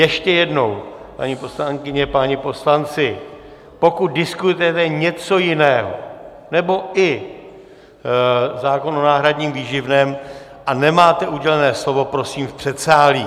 Ještě jednou, paní poslankyně, páni poslanci, pokud diskutujete něco jiného nebo i zákon o náhradním výživném, a nemáte udělené slovo, prosím v předsálí!